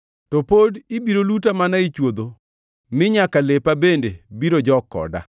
to pod ibiro luta mana e chwodho mi nyaka lepa bende biro jok koda.